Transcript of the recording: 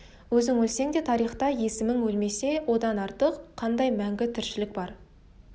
өзің өлсең де тарихта есімің өлмесе одан артық қандай мәңгі тіршілік бар